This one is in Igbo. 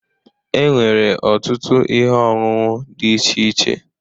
E nwere ọtụtụ ihe ọṅụṅụ dị iche iche.